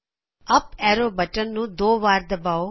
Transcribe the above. up arrow button ਨੂੰ ਦੋ ਵਾਰ ਦਬਾਓ